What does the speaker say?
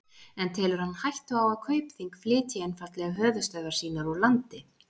En telur hann hættu á að Kaupþing flytji einfaldlega höfuðstöðvar sínar úr landi?